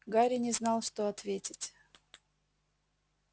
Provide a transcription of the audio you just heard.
гарри не знал что ответить